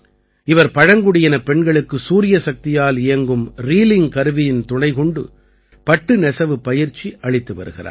இவர் பழங்குடியினப் பெண்களுக்கு சூரியசக்தியால் இயங்கும் ரீலிங் கருவியின் துணைக்கொண்டு பட்டு நெசவுப் பயிற்சி அளித்து வருகிறார்